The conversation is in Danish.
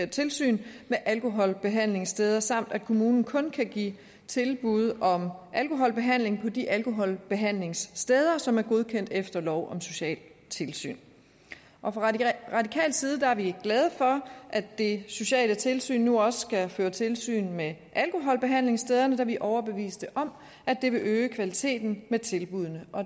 tilsyn med alkoholbehandlingssteder samt at kommunen kun kan give tilbud om alkoholbehandling på de alkoholbehandlingssteder som er godkendt efter lov om socialt tilsyn fra radikal side er vi glade for at det sociale tilsyn nu også skal føre tilsyn med alkoholbehandlingsstederne da vi er overbeviste om at det vil øge kvaliteten af tilbuddene